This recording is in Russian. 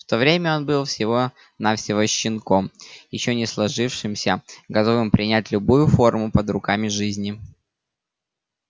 в то время он был всего навсего щенком ещё не сложившимся готовым принять любую форму под руками жизни